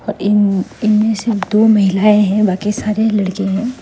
इन इनमें सिर्फ दो महिलाएं हैं और बाकी सारे लड़के हैं।